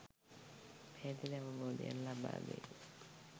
පැහැදිලි අවබෝධයක් ලබා දෙයි.